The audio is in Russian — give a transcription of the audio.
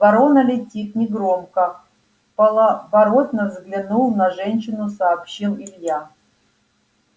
ворона летит негромко вполоборота взглянув на женщину сообщил илья